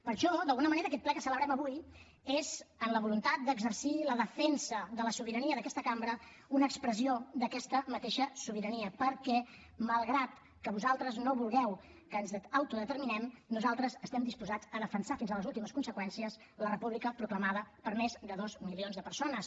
per això d’alguna manera aquest ple que celebrem avui és amb la voluntat d’exercir la defensa de la sobirania d’aquesta cambra una expressió d’aquesta mateixa sobirania perquè malgrat que vosaltres no vulgueu que ens autodeterminem nosaltres estem disposats a defensar fins a les últimes conseqüències la república proclamada per més de dos milions de persones